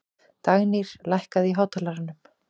Dagnýr, lækkaðu í hátalaranum.